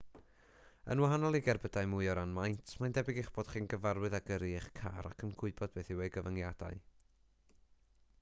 yn wahanol i gerbydau mwy o ran maint mae'n debyg eich bod chi'n gyfarwydd â gyrru eich car ac yn gwybod beth yw ei gyfyngiadau